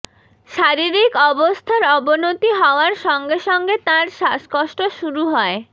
শারীরিক অবস্থার অবনতি হওয়ার সঙ্গে সঙ্গে তাঁর শ্বাসকষ্ট শুরু হয়